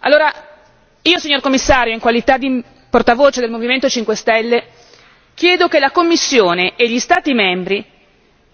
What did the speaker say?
Allora io, signor Commissario, in qualità di portavoce del Movimento 5 Stelle, chiedo che la Commissione e gli Stati membri